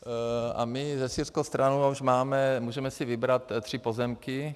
A my se syrskou stranou už máme, můžeme si vybrat tři pozemky.